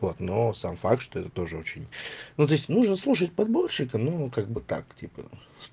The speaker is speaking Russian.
вот но сам факт что это тоже очень ну то есть нужно слушать подборщика ну как бы так типа